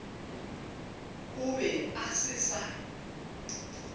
a be a se sa